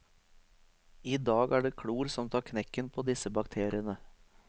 I dag er det klor som tar knekken på disse bakteriene.